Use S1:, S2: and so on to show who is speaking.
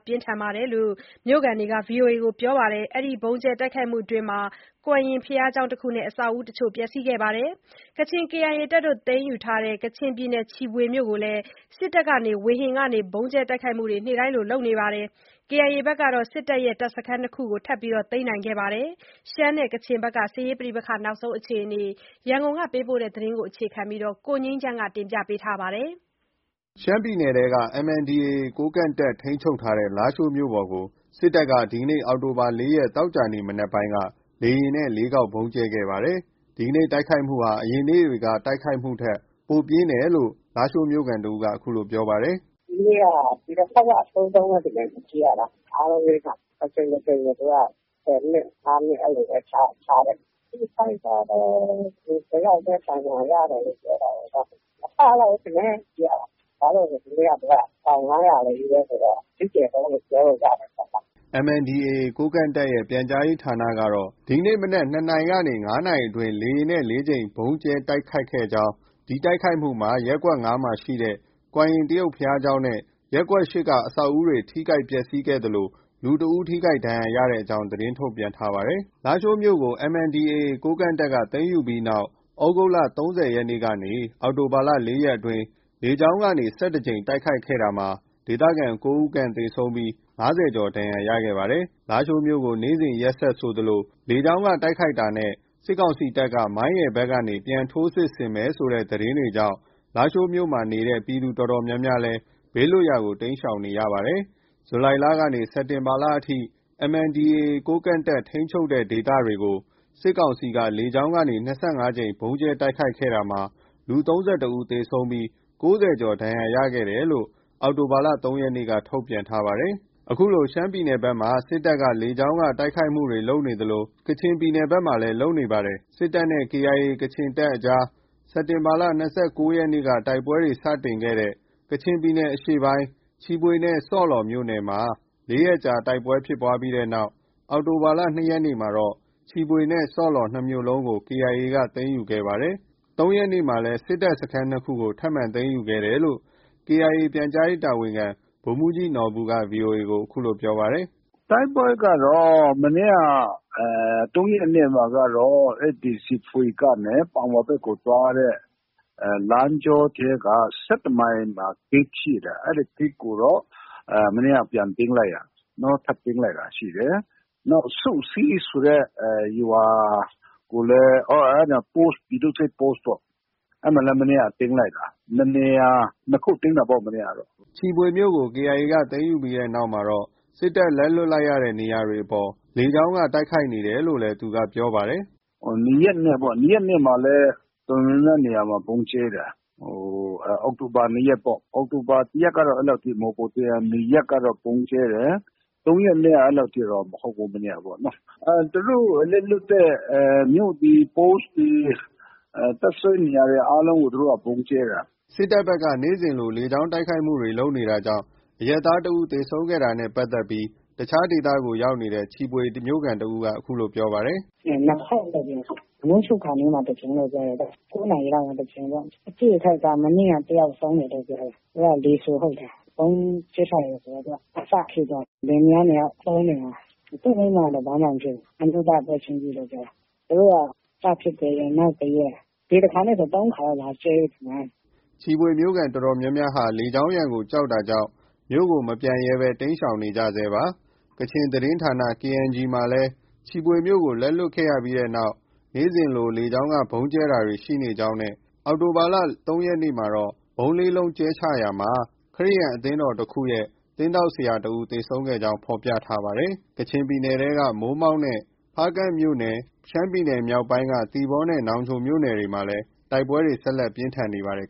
S1: ပြင်းထန်တယ်လို့ မြို့ခံတွေက ပြောပါတယ်။ ကွမ်ရင်ဘုရားကျောင်းတခုနဲ့ အဆောက်အဦးတချို့ ပျက်စီးခဲ့ပါတယ်။ ကချင် KIA တပ်တွေ သိမ်းယူထားတဲ့ ကချင်ပြည်နယ် ချီဖွေမြို့ကိုလည်း စစ်တပ်က ဝေဟင်ကနေ ဗုံးကြဲတိုက်ခိုက်မှုတွေ နေ့တိုင်းလို ရှိနေပါတယ်။ KIA ကတော့ စစ်တပ် တပ်စခန်း ၂ ခုကို ထပ်ပြီး သိမ်းခဲ့ပါတယ်။ ရှမ်းပြည်နယ်နဲ့ ကချင်ပြည်နယ်က စစ်ရေးအခြေအနေအကြောင်း ရန်ကုန်ကလာတဲ့သတင်းကို အခြေခံပြီး တင်ပြထားပါတယ်။ ရှမ်းပြည်နယ်ထဲက MNDAA ကိုးကန့်တပ် ထိန်းချုပ်ထားတဲ့ လားရှိုးမြို့ပေါ်ကို စစ်တပ်က ဒီနေ့ အောက်တိုဘာ ၄ ရက် သောကြာနေ့ မနက်ပိုင်းက လေယာဉ်နဲ့ ၄ ခေါက် ဗုံးကြဲချတိုက်ခိုက်ခဲ့ပါတယ်။ ဒီနေ့ တိုက်ခိုက်မှုဟာ အရင်နေ့တွေ တိုက်ခိုက်တာထက် ပိုပြင်းထန်တယ်လို့ လားရှိုးမြို့ခံ တဦးက အခုလို ပြောပါတယ်။
S2: “ ဒီနေ့က ဒီတခေါက်က အဆိုးဆုံးပဲ ထင်တယ် ကြည့်ရတာ။ အားလုံး ၄ ခါ။ တကြိမ်တကြိမ်ဆိုသူက ၁၀ မိနစ်၊ ၅ မိနစ် အဲလိုပဲ ခြားတယ်။ အထိအခိုက်ကတော့ လူတယောက်ပဲ ဒဏ်ရာရတယ်လို့ ပြောတာကိုး။ မကလောက်ဘူးထင်တယ်။ ကြည့်ရတာ။ ဘာလို့လဲဆို ဒီနေ့က ပေါင် ၅၀၀ တွေ ချည်းပဲဆိုတော့ အကြီးကျယ်ဆုံးလို့ ပြောလို့ ရတာ
S1: ပေါ့နော်။” MNDAA ကိုးကန့်တပ်ရဲ့ ပြန်ကြားရေးဌာနကတော့ ဒီနေ့ မနက် ၂နာရီ ၁၃ မိနစ်ကနေ ၅ နာရီ မိနစ် ၂၀အတွင်း လေယာဉ်နဲ့ ၄ ကြိမ် ဗုံးကြဲချ တိုက်ခိုက်ခဲ့ကြောင်း၊ ဒီတိုက်ခိုက်မှုမှာ ရပ်ကွက် ၅ မှာရှိတဲ့ ကွမ်ရင်တရုတ်ဘုရားကျောင်းနဲ့ ရပ်ကွက် ၈ က အဆောက်အဦတွေ ထိခိုက် ပျက်ဆီးခဲ့သလို လူတဦးထိခိုက်ဒဏ်ရာရကြောင်း သတင်းထုတ်ပြန်ထား ပါတယ်။ လားရှိုးမြို့ကို MNDAA သိမ်းယူပြီးနောက် သြဂုတ်လ ၃၀ ရက်နေ့ကနေ အောက်တိုဘာလ ၄ ရက်နေ့အထိ လေကြောင်းက ၁၁ ကြိမ် တိုက်ခဲ့ရာမှာ ဒေသခံ ၉ ဦးခန့်သေဆုံးပြီး ၅၀ ကျော် ဒဏ်ရာရခဲ့ပါတယ်။ လားရှိုးမြို့ကို နေ့စဉ်ရက်ဆက်ဆိုသလို လေကြောင်းက တိုက်ခိုက်တာနဲ့ စစ်ကောင်စီတပ်က မိုင်းရယ်ဘက်ကနေ ပြန်လည် ထိုးစစ်ဆင်တိုက်ခိုက်မယ် ဆိုတဲ့သတင်းတွေကြောင့် လားရှိုးမြို့ရှိ ပြည်သူအတော်များများလည်း ဘေးလွတ်ရာကို တိမ်းရှောင်နေကြပါတယ်။ ဇူလိုင်လကနေ စက်တင်ဘာလအထိ MNDAA ထိန်းချုပ်ဒေသတွေကို စစ်ကောင်စီက လေကြောင်းက ၂၅ ကြိမ် ဗုံးကြဲတိုက်ခိုက်ခဲ့ရာမှာ လူ ၃၁ ဦးသေဆုံးပြီး ၉၀ ကျော် ဒဏ်ရာရခဲ့တယ်လို့ အောက်တိုဘာ ၃ ရက်နေ့က ထုတ်ပြန်ထားပါတယ်။ အခုလို ရှမ်းပြည်နယ်ဘက်က စစ်တပ်က လေကြောင်းတိုက်ခိုက်မှုတွေ လုပ်နေသလို ကချင်ဘက်မှာလည်း လုပ်နေပါတယ်။ စစ်တပ်နဲ့ KIA ကချင်တပ်တွေကြား စက်တင်ဘာလ ၂၉ ရက်နေ့က တိုက်ပွဲတွေ စတင်ခဲ့တဲ့ ကချင်ပြည်နယ်အရှေ့ပိုင်းက ချီဖွေနဲ့ဆော့လော်မြို့နယ်မှာ ၄ ရက်အကြာတိုက်ပွဲဖြစ်ပြီးနောက် အောက်တိုဘာ ၂ ရက်နေ့မှာတော့ ၂ မြို့လုံးကို KIA က သိမ်းယူခဲ့ပါတယ်။ ၃ ရက်နေ့မှာလည်း စစ်တပ်စခန်း ၂ ခုကို ထပ်မံ သိမ်းယူခဲ့တယ်လို့ KIA ပြန်ကြားရေး တာဝန်ခံ ဗိုလ်မှုးကြီးနော်ဘူက VOA ကို ပြောပါတယ်။ “တိုက်ပွဲကတော့ မနေ့က ၃ ရက်နေ့မှာ
S2: ကတော့ အဲဒီချီဖွေကနေ ပန်ဝါဘက်ကိုသွားတဲ့ လမ်းကြောထဲက ၁၁ မိုင်မှာ ဂိတ်ရှိတယ်။ အဲဒီဂိတ်ကိုတော့ မနေ့က ပြန်သိမ်းလိုက်တာ၊ နောက်ထပ်သိမ်းလိုက်တာရှိတယ်။ နောက် စုစည်းဆိုတဲ့ရွာ၊ အဲဒီမှာ ပြည်သူ့စစ် Post ပေါ့။ အဲဒီမှာလည်း မနေ့က သိမ်းလိုက်တာ။ ၂ နေရာ၊ နှစ်ခု သိမ်းတာပေါ့ မနေ့ကတော့။
S1: ” ချီဖွေမြို့ကို KIA ဘက်က သိမ်းယူပြီးနောက်မှာ စစ်တပ် လက်လွှတ်လိုက်ရတဲ့ နေရာတွေအပေါ် စစ်တပ်က လေကြောင်းကနေ တိုက်ခိုက်နေတယ်လို့လည်း သူကပြောပါတယ်။
S2: “၂ ရက်နေ့ပ
S1: ေါ့။ ၂ ရက်နေ့မှာလည်း တော်တော်များများနေရာမှာ ဗုံးကြဲတယ်။ အ
S2: ောက်တိုဘာ ၂ ရက်ပေါ့။ အောက်တိုဘာ ၁ ရက်ကတော့ အဲလောက်ထိ မဟုတ်ဘူး။ ၂ ရက်ကတော့ ဗုံးကြဲတယ်။ ၃ ရက်နေ့ကတော့ အဲလောက်တော့ မဟုတ်ဘူး။ မနေ့ကပေါ့နော။ သူတို့လက်လွှတ်တဲ့
S1: မြို့တွေ၊ Post တွေ၊ တပ်စွဲတဲ့နေရာတွေ အားလုံးကို သူတို့က ဗုံးကြဲတာ။” စစ်တပ်ဘက်က နေ့တိုင်းလို လေကြောင်း တိုက်ခိုက်မှုတွေ လုပ်နေတာကြောင့် အရပ်သားတွေ ၁ ဦးသေဆုံးခဲ့တာကို တခြားဒေသကို ရောက်နေတဲ့ ချီဖွေမြို့ခံတယောက်က ပြောပါတယ်။ “၂ ခေါ
S2: က်လို့ ပြောတယ်။ မိုးချုပ်ခါနီးမှာ တကြိမ်လို့ ပြောတယ်။ ၉ နာရီလောက်မှာ တကြိမ်ပေ့ါ့။ အထိအခိုက် မနေ့က တယောက်ဆုံးတယ်လို့ ပြောတယ်။ သူက လီဆူဟုတ်တယ်။ ဗုံးကြဲချတယ်ဆိုတော့ သူက အစထိသွားတာ။ လင်မယားနှစ်ယောက် သွားပုန်းနေတာ။ သူ့မိန်းမကတော့ ဘာမှ မဖြစ်ဘူး။ အမျိုးသားက ပွဲချင်းပြီးလို့ ပြောတယ်။ သူတို့က စဖြစ်တဲ့ရက် နောက်တရက်။ ဒီတခါနဲ့ဆို ၃ ခါလောက်ရှိပြီထင်တယ် လာကြဲ
S1: တာ။” ချီဖွေမြို့ခံအတော်များများဟာ လေကြောင်းရန်ကို ကြောက်တာကြောင့် မြို့ကို မပြန်ရဲဘဲ တိမ်းရှောင်နေကြဆဲဖြစ်ပါတယ်။ ကချင်သတင်းဌာန KNG မှာလည်း ချီဖွေမြို့ကို လက်လွတ်ခဲ့ပြီးနောက် နေ့စဉ်လို လေကြောင်းက ဗုံးကြဲတာတွေရှိကြောင်းနဲ့ အောက်တိုဘာ ၃ ရက်နေ့က ဗုံး ၄ လုံးကြဲချရာမှာ ခရစ်ယာန်အသင်းတော်တခုရဲ့ သင်းထောက်ဆရာတဦး သေဆုံးခဲ့ကြောင်းနဲ့ ဖော်ပြထားပါတယ်။ ကချင်ပြည်နယ်ထဲက မိုးမောက်နဲ့ ဖားကန့်မြို့နယ်နဲ့ ရှမ်းပြည်နယ်မြောက်ပိုင်းက သီပေါနဲ့ နောင်ချိုမြို့နယ်တွေမှာ တိုက်ပွဲတွေ ဆက်လက် ပြင်းထန်နေပါတယ်